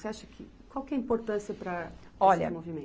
Você acha que, qual que é a importância para esse movimento? Olha